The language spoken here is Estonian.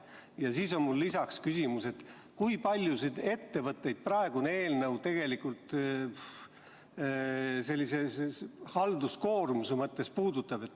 Ja siis on mul lisaks küsimus: kui paljusid ettevõtteid praegune eelnõu halduskoormuse mõttes puudutab?